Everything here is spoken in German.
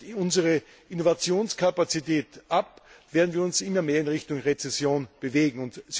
Reißt unsere Innovationskapazität ab, werden wir uns immer mehr in Richtung Rezession bewegen.